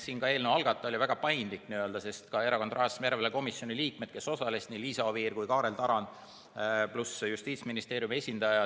Siin oli eelnõu algataja väga paindlik, samuti Erakondade Rahastamise Järelevalve Komisjoni liikmed, kes osalesid, nii Liisa Oviir kui ka Kaarel Tarand, pluss Justiitsministeeriumi esindaja.